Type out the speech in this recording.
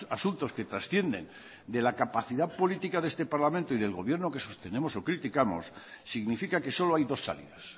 asuntos que trascienden de la capacidad política de este parlamento y del gobierno que sostenemos o criticamos significa que solo hay dos salidas